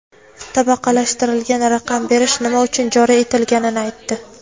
tabaqalashtirilgan raqam berish nima uchun joriy etilganini aytdi:.